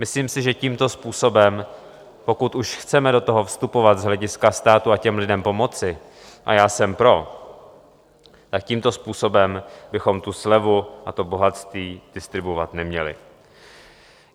Myslím si, že tímto způsobem, pokud už chceme do toho vstupovat z hlediska státu a těm lidem pomoci, a já jsem pro, tak tímto způsobem bychom tu slevu a to bohatství distribuovat neměli.